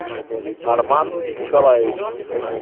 арман николаевич